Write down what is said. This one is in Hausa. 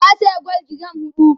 ta saya gwal giram huɗu